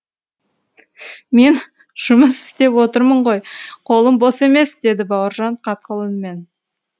мен жұмыс істеп отырмын ғой қолым бос емес деді бауыржан қатқыл үнмен